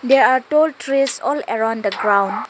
they are tall trees all around the ground.